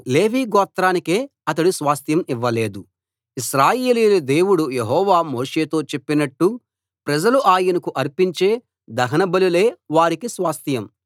లేవి గోత్రానికే అతడు స్వాస్థ్యం ఇవ్వలేదు ఇశ్రాయేలీయుల దేవుడు యెహోవా మోషేతో చెప్పినట్టు ప్రజలు ఆయనకు అర్పించే దహన బలులే వారికి స్వాస్థ్యం